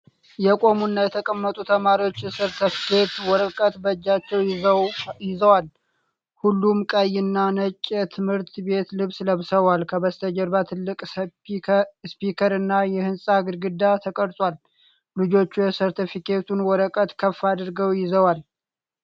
የቆሙና የተቀመጡ ተማሪዎች የሰርተፍኬት ወረቀቶችን በእጃቸው ይዘዋል። ሁሉም ቀይ እና ነጭ የትምህርት ቤት ልብስ ለብሰዋል። ከበስተጀርባ ትልቅ ስፒከር እና የህንፃ ግድግዳ ተቀርጿል። ልጆቹ የሰርተፍኬቱን ወረቀት ከፍ አድርገው ይዘዋል።